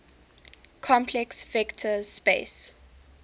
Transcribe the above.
complex vector space